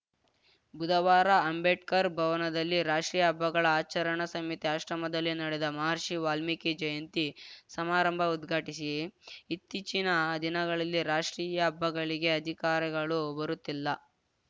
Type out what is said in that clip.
ಬುಧವಾರ ಅಂಬೇಡ್ಕರ್‌ ಭವನದಲ್ಲಿ ರಾಷ್ಟೀಯ ಹಬ್ಬಗಳ ಆಚರಣಾ ಸಮಿತಿ ಆಶ್ರಮದಲ್ಲಿ ನಡೆದ ಮಹರ್ಷಿ ವಾಲ್ಮೀಕಿ ಜಯಂತಿ ಸಮಾರಂಭ ಉದ್ಘಾಟಿಸಿ ಇತ್ತೀಚಿನ ದಿನಗಳಲ್ಲಿ ರಾಷ್ಟೀಯ ಹಬ್ಬಗಳಿಗೆ ಅಧಿಕಾರಿಗಳು ಬರುತ್ತಿಲ್ಲ